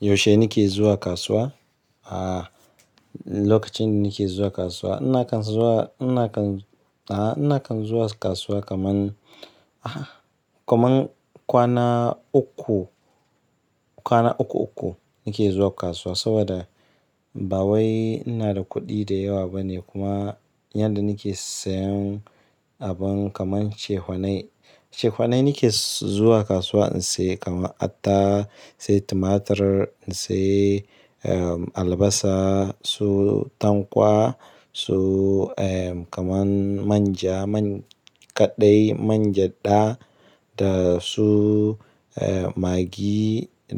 Yaushe nake zuwa kasuwa? A, lokacin da nake zuwa kasuwa. Nakan zuwa, nakan, a nakan zuwa kasuwa kaman, ah, kaman kwana uku, kwana uku uku nake zuwa kasuwa saboda ba wai ina da kuɗi da yawa ba ne kuma yanda nake sayan abun kaman cehfanai. Ce fanai nake zuwa kasuwa in sai kaman atta, sai tumatur, na sai, albasa, su tankwa, su, kaman man ja, man kaɗai, man jadda da su, maggi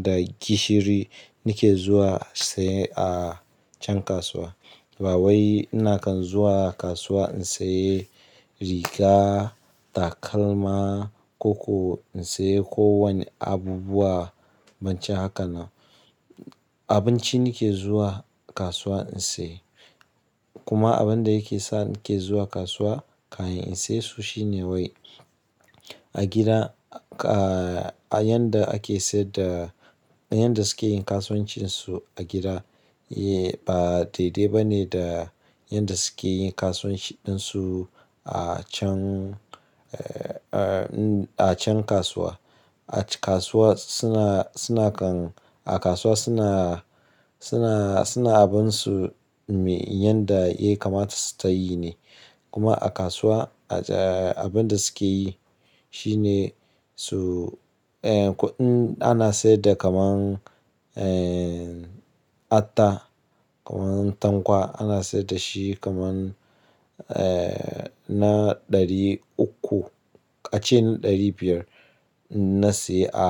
da gishiri nake zuwa sai a can kasuwa. Ba wai nakan zuwa kasuwa in sayi riga, takalma ko ko in sayi ko wane abubuwa, bancin haka na. Abinci nake zuwa kasuwa in sayi. Kuma abinda yake sa nake zuwa kasuwa, kamin in saye su shine wai a gida, a, a yanda ake saida, yanda suke yin kasuwancinsu a gida, ba daidai ba ne da yanda suke yin kasuwanci ɗinsu a can, a can kasuwa. A kasuwa suna, suna kan, a kasuwa suna, suna, suna abansu me yanda e kamata su tayi ne. Kuma a kasuwa, a, abinda suke yi shine su, kuɗin ana saida kaman, atta, kaman tankwa ana saida shi kaman, na ɗari uku. A ce ɗari biyar na sayi a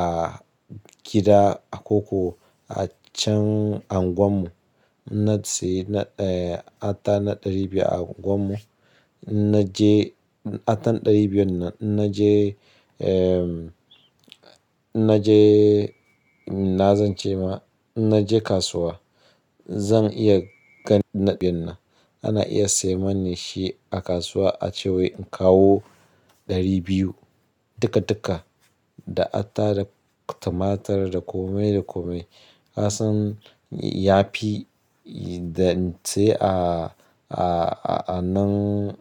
gida a koko a can unguwar mu. Na sayi na, eh, atta na ɗari biyar a unguwar mu. Na je attar ɗari biyar nan na je, ehm, na je, na zance ma na je kasuwa. Zan iya gan ɗari biyar nan. Ana iya sayi mani shi a kasuwa a ce wai in kawo ɗari biyu. Duka duka da atta, da tumatur, da kome da kome. Kasan ya fi da in sayi a, a, a nan,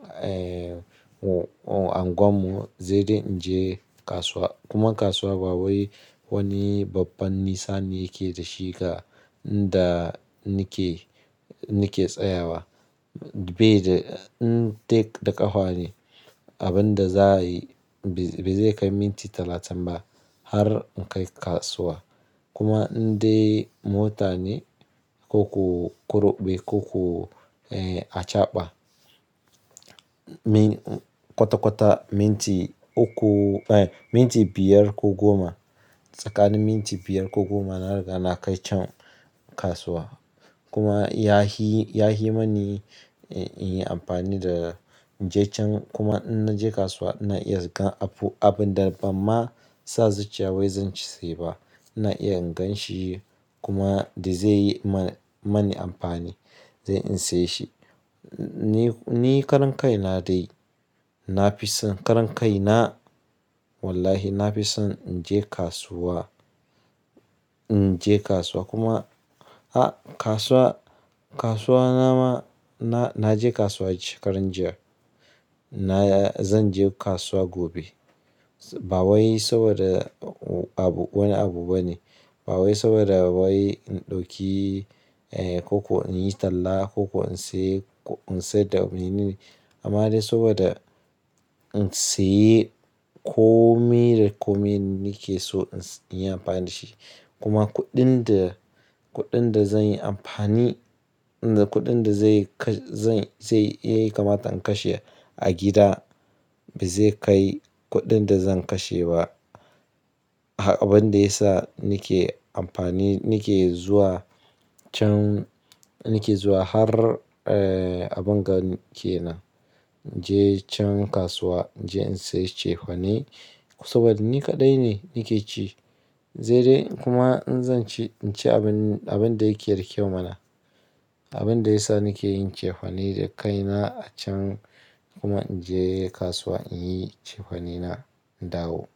unguwar mu, zai dai in je kasuwa. Kuma kasuwa ba wai wani babban nisani yake da shiga da nake, nake tsayawa. Bai da, in tek da ƙafa ne, abinda za a yi bai zai kai minti talatin ba har in kai kasuwa. Kuma in dai mota ne ko ko kurɓe ko ku, achaɓa. Min kwata kwata minti uku, eh, minti biyar ko goma. Tsakanin minti biyar ko goma na riga na kai can kasuwa. Kuma ya fii, ya fi mini in yi amfani da, in je can kuma in na je kasuwa na iya gan abu, abunda bamma sa zuciya wai zan sai ba. Na iya in gan shi kuma dai zai yi ma mani amfani dai in saye shi. Ni karan kai na dai. Na fi son karan kai na wallahi na fi son in je kasuwa, in je kasuwa kuma, a kasuwa, kasuwa na ma na, na je kasuwa shekaran jiya. Na zan je kasuwa gobe. Ba wai saboda abu wani abu ba ne. Ba wai saboda ba wai in ɗauki, ko ko in yi talla, ko ko in siye, in saida wani nuni. Amma dai saboda in siye kome da kome nake so in yi amfani da shi. Kuma kuɗin da, kuɗin da zan yi amfani, kuɗin da zai kai, zai, zai, yayi kamata in kashe a gida bai zai kai kuɗin da zan kashe ba. Abinda ya sa nake amfani, nake zuwa can, nake zuwa har, eh, abin gani ke nan. In je can kasuwa, in je in sayi cefane saboda ni kaɗai ne nake ci. Zai dai kuma in zan ci, in ci abin, abin da yake da kyau mana. Abin da ya sa nake yin cefane da kaina a can kuma in je kasuwa in yi cefane na in dawo.